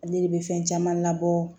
Ale de bɛ fɛn caman labɔ